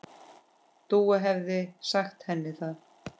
Dúa hefði sagt henni það.